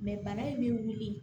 bana in bɛ wuli